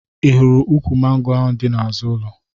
Ị hụrụ ukwu mango ahụ dị n'azụ ụlo?